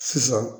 Sisan